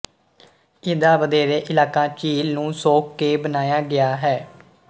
ਇਹਦਾ ਵਧੇਰੇ ਇਲਾਕਾ ਝੀਲ ਨੂੰ ਸੋਖ ਕੇ ਬਣਾਇਆ ਗਿਆ ਹੈ